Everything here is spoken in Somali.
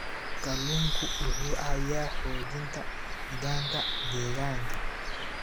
Kalluunku wuxuu caawiyaa xoojinta nidaamka deegaanka.